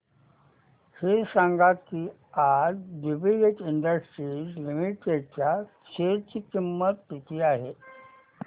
हे सांगा की आज ज्युबीलेंट इंडस्ट्रीज लिमिटेड च्या शेअर ची किंमत किती आहे